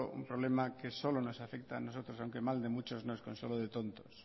un problema que solo nos afecta a nosotros aunque mal de muchos no es consuelo de tontos